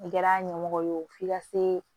I kɛra ɲɛmɔgɔ ye o f'i ka se